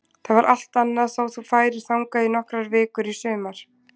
Það var allt annað þó þú færir þangað í nokkrar vikur í sumar.